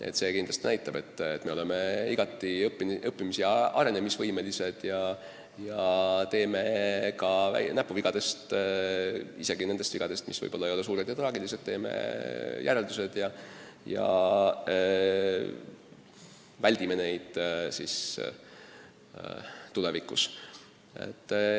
Aga see kindlasti näitab, et me oleme igati õppimis- ja arenemisvõimelised ning teeme järeldused ka näpuvigadest – isegi nendest vigadest, mis ei ole suured ja traagilised – ja väldime neid tulevikus.